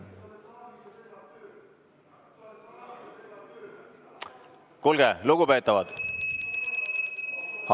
Kuulge, lugupeetavad!